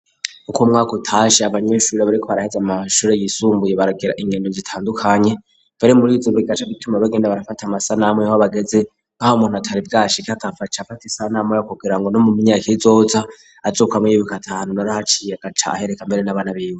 Uko umwaka utashe abanyeshuri bari ko baraheze amashuri yisumbuye baragira inkeno zitandukanye bare murizibirgaca gituma bagenda barafate amasa namwe wo'abagezi nkaho umuntu atari bwashiki akaface afata isa nameyo kugira ngo no mu myaka y'izohutsa azukamo y'ibika atanu nari haciye agaca ahereka mbere n'abana binde